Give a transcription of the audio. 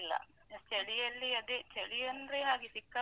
ಚಳಿಯಲ್ಲಿ ಅದೇ ಚಳಿ ಅಂದ್ರೆ ಹಾಗೆ ಸಿಕ್ಕಾಪಟ್ಟೆ.